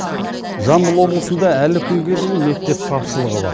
жамбыл облысында әлі кунге дейін мектеп тапшылығы бар